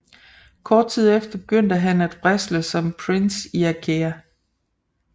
Kort tid efter begyndte han at wrestle som Prince Iaukea